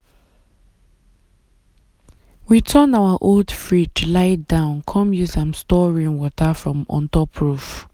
we turn our old fridge lie down come use am store rainwater from ontop roof.